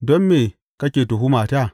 Don me kake tuhumata?